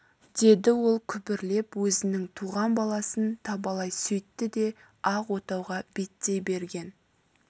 деді ол күбірлеп өзінің туған баласын табалай сөйтті де ақ отауға беттей берген